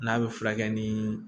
N'a bɛ furakɛ ni